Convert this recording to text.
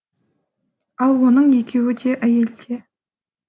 ал оның екеуі де әйелде